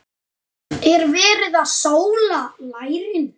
Er verið að sóla lærin?